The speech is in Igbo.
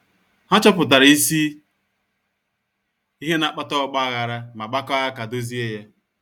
Ha chọpụtara isi ihe na-akpata ọgba aghara ma gbakọọ aka dozie ya.